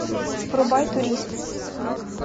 врубай турист